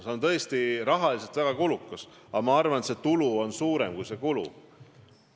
See on tõesti rahaliselt väga kulukas, samas ma arvan, et saadav tulu on suurem kui kulu.